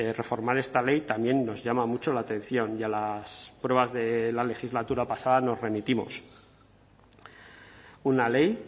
reformar esta ley también nos llama mucho la atención y a las pruebas de la legislatura pasada nos remitimos una ley